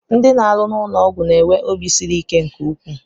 Ndị na-arụ n'ụlọọgwụ na-enwe obi siri ike nke ukwuu